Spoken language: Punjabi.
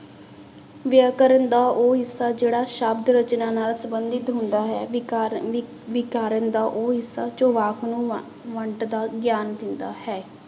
ਵਿਆਕਰਨ ਦਾ ਉਹ ਹਿੱਸਾ ਜਿਹੜਾ ਸ਼ਬਦ ਰਚਨਾ ਨਾਲ ਸੰਬੰਧਿਤ ਹੁੰਦਾ ਹੈ ਵਿਕਾਰਨ ਵਿ ਵਿਕਾਰਨ ਦਾ ਉਹ ਹਿੱਸਾ ਜੋ ਵਾਕ ਨੂੰ ਵੰ ਵੰਡਦਾ ਗਿਆਨ ਦਿੰਦਾ ਹੈ।